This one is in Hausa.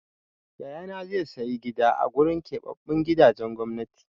Yayana zai sayi gida a gurin keɓaɓɓun gidajen gwamnati.